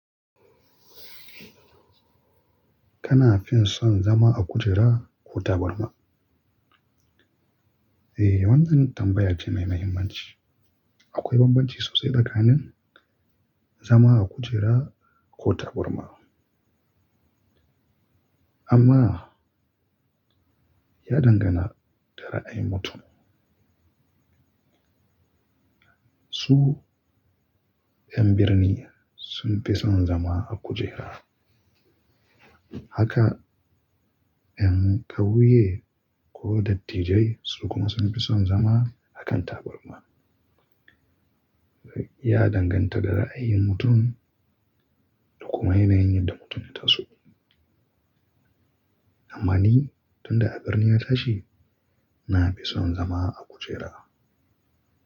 Kana fin son zama a kujera ko taburma? Ai, wan can tambaya ce mai mahimmanci. Akwai bambanci so sai tsakanin zama a kujera ko taburma. Amma ya dangana ga raayin mutum su yan birni sun fi son zama a kujera. Haka yan kauye ko datibbai sun fi son zama a taburma. Ya danganta da ra'ayin mutum da kuma yanayin da mutum ya taso. Ama ni tun da a birni na tashi na fi son zama a kujera.